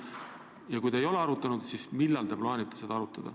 Ja kui te ei ole arutanud, siis millal te plaanite seda teha?